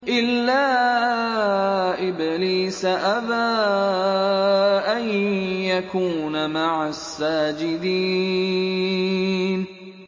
إِلَّا إِبْلِيسَ أَبَىٰ أَن يَكُونَ مَعَ السَّاجِدِينَ